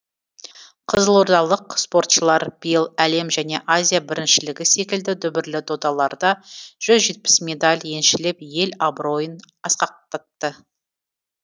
қызылордалық спортшылар биыл әлем және азия біріншілігі секілді дүбірлі додаларда жүз жетпіс медаль еншілеп ел абыройын асқақтатты